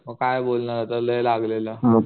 मग काय बोलणार लय लागलेलं